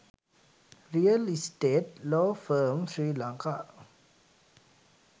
real estate law firm sri lanka